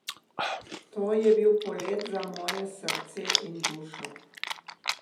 To je bil polet za moje srce in dušo.